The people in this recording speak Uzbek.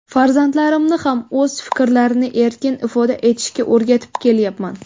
Farzandlarimni ham o‘z fikrlarini erkin ifoda etishga o‘rgatib kelyapman.